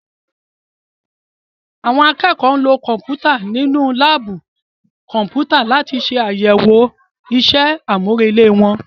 Àwọn akẹ́kọ̀ọ́ lo Kọ̀m̀pútà nínú láàbù Kọ̀m̀pútà láti ṣàyẹ̀wò ìṣe àmúrelé wọn